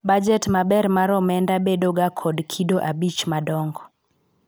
bajet maber mar omenda bedo ga kod kido abich madongo